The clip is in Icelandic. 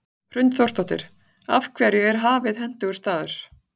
Hrund Þórsdóttir: Af hverju er Hafið hentugur staður?